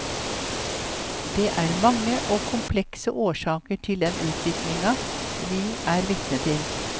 Det er mange og komplekse årsaker til den utviklinga vi er vitne til.